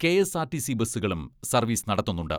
KSRTC ബസ്സുകളും service നടത്തുന്നുണ്ട്.